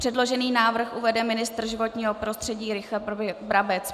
Předložený návrh uvede ministr životního prostředí Richard Brabec.